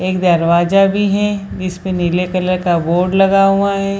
एक दरवाजा भी है जिसपे नीले कलर का बोर्ड लगा हुआ है।